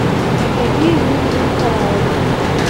евдокию юрьевну николаеву